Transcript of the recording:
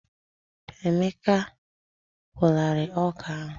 Emeka a kwụọlarịị ọkà ahụ.